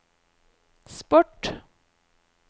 sport